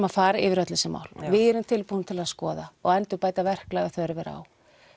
að fara yfir öll þessi mál við erum tilbúin til þess að skoða og endurbæta verklag ef þörf er á